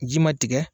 Ji ma tigɛ